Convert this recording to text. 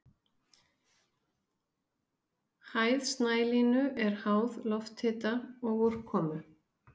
Hæð snælínu er háð lofthita og úrkomu.